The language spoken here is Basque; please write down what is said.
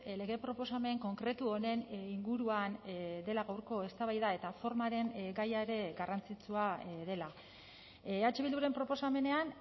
lege proposamen konkretu honen inguruan dela gaurko eztabaida eta formaren gaia ere garrantzitsua dela eh bilduren proposamenean